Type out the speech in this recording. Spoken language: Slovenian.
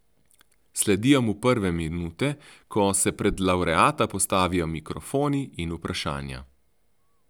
Sledijo mu prve minute, ko se pred lavreata postavijo mikrofoni in vprašanja.